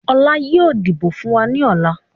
Ọlá yìí ó dìbò fun wá ní ọ̀la.